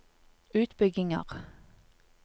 utbygginger